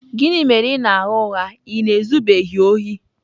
Gịnị mere ị ka na-agha ụgha ị na-ezubeghị ohi?